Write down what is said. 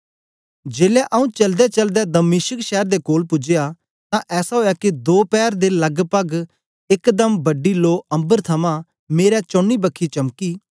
जेलै आंऊँ चलदेचलदे दमिश्क शैर दे कोल पूजया तां ऐसा ओया के दो पैर दे लगपग एकदम बड़ी लो अम्बर थमां मेरे चौनी बखी चमकी